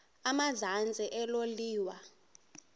emazantsi elo liwa